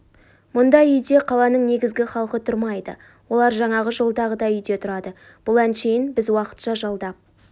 мұндай үйде қаланың негізгі халқы тұрмайды олар жаңағы жолдағыдай үйде тұрады бұл әншейін біз уақытша жалдап